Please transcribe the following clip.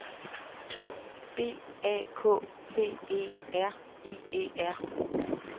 B A K T E R I E R